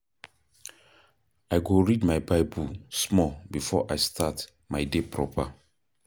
I go read my Bible small before I start my day proper.